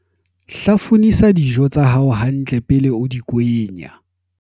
hlafunisa dijo tsa hao hantle pele o di kwenya